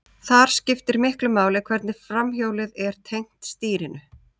Þar skiptir miklu máli hvernig framhjólið er tengt stýrinu.